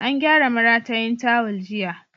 An gyara maratayin tawul jiya.